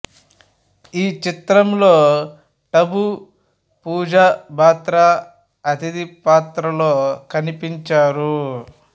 ఈ చిత్రంలో టబు పూజా బాత్రా అతిథి పాత్రల్లో కనిపించారు